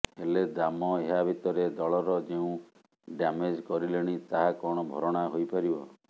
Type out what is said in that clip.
ହେଲେ ଦାମ ଏହା ଭିତରେ ଦଳର ଯେଉଂ ଡ୍ୟାମେଜ୍ କରିଲେଣି ତାହା କଣ ଭରଣା ହୋଇପାରିବ